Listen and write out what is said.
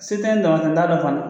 Se tɛ ne ye dama tɛ , n t'a dɔn fana.